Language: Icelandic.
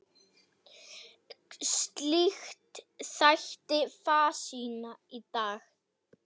Slíkt þætti fásinna í dag.